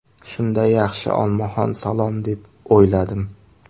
Shunda, ‘yaxshi, olmaxon salom’ deb o‘yladim.